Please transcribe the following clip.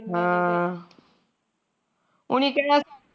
ਉਨੀ ਕਹਿਣਾ